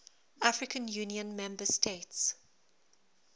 african union member states